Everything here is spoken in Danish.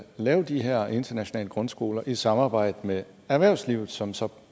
lave de her internationale grundskoler i samarbejde med erhvervslivet som så